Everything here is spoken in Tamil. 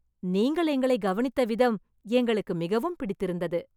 நீங்கள் எங்களைக் கவனித்த விதம் எங்களுக்கு மிகவும் பிடித்து இருந்தது